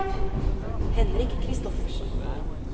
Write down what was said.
Henrik Christoffersen